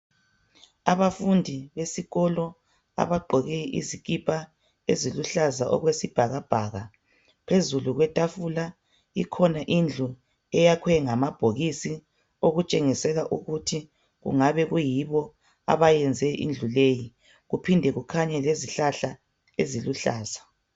Abafundi besikolo abagqoke izikipa eziluhlaza okwesibhakabhaka phezulu kwetafula ikhona indlu eyakhwe ngamabhokisi okutshengisela ukuthi kungabe kuyibo abayenze indlu leyi kuphinde kukhanye lezihlahla eziluhlaza